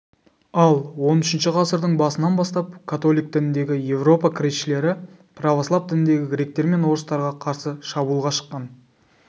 ал он үшінші ғасырдың басынан бастап католик дініндегі европа кресшілері православ дініндегі гректер мен орыстарға қарсы шабуылға шыққан